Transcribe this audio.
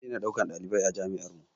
Za a daina ɗaukan ɗalibai a jami'ar mu